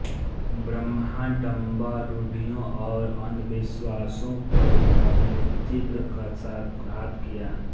बाह्याडंबर रूढ़ियों और अंधविश्वासों पर उन्होंने तीव्र कशाघात किया